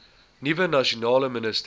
nuwe nasionale minister